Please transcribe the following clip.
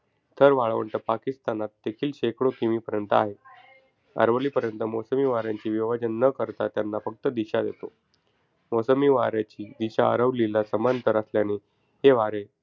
थर वाळवंट पाकिस्तानात देखील शेकडो kilometers पर्यंत आहे. अरवलीपर्वत मोसमी वाऱ्यांचे विभाजन न करता त्यांना फक्त दिशा देतो. मोसमी वाऱ्याची दिशा अरवलीला समांतर असल्याने हे वारे,